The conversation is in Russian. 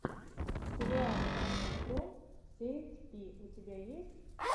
сериал саши фром сэйнт пи у тебя есть